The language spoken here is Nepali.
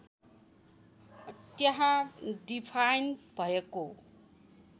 त्यहाँ डिफाइन्ड भएको